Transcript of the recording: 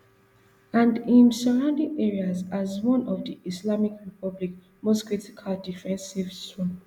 and im surrounding areas as one of di islamic republic most critical defensive zones